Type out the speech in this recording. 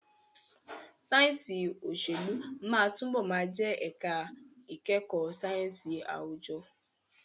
Sáyẹ̀nsì òṣèlú máa túbọ̀ máa jẹ́ ẹ̀ka ìkẹ́kọ̀ọ́ sáyẹ̀nsì àwùjọ.